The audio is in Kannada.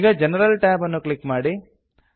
ಈಗ ಜನರಲ್ ಟ್ಯಾಬ್ ಅನ್ನು ಕ್ಲಿಕ್ ಮಾಡಿ